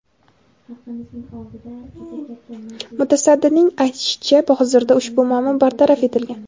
Mutasaddining aytishicha, hozirda ushbu muammo bartaraf etilgan.